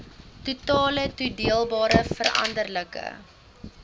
totale toedeelbare veranderlike